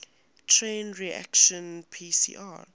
chain reaction pcr